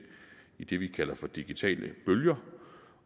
i det vi kalder for digitale bølger